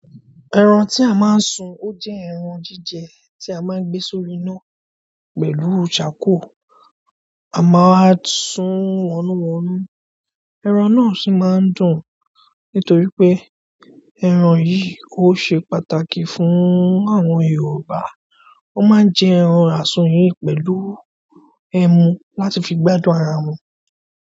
Ẹran tí a máa ń sun ó jẹ́ ẹran jíjẹ tí a máa ń gbé sórí iná pẹ̀lú characoal. A máa sun wọ́núwọ́nú, ẹran náà sì máa ń dùn. Nítorí pé ẹran yìí ó ṣe pàtàkì fún àwọn Yorùbá, wọ́n máa ń jẹ ẹran àsùn yìí pẹ̀lú ẹmu wọn a tun fi gbádùn ara wọn.